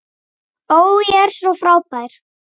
Ó, ég er svo frábær.